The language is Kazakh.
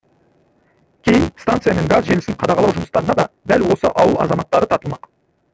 кейін станция мен газ желісін қадағалау жұмыстарына да дәл осы ауыл азаматтары тартылмақ